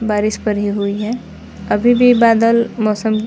बारिश परी हुई है अभी भी बदल मौसम--